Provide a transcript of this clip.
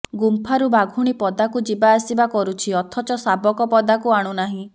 ଗୁମ୍ଫାକୁ ବାଘୁଣୀ ପଦାକୁ ଯିବା ଆସିବା କରୁଛି ଅଥଚ ଶାବକ ପଦାକୁ ଆଣୁନାହିଁ